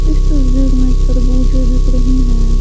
इस तस्वीर में तरबूजें बिक रही हैं।